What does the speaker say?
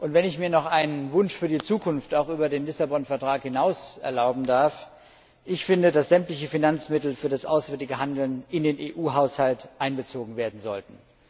Wenn ich mir noch einen Wunsch für die Zukunft auch über den Lissabon Vertrag hinaus erlauben darf Ich finde, dass sämtliche Finanzmittel für das auswärtige Handeln in den EU Haushalt einbezogen werden sollten.